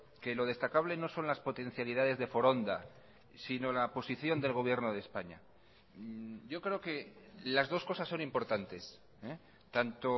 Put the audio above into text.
que lo destacable no son las potencialidades de foronda sino la posición del gobierno de españa yo creo que las dos cosas son importantes tanto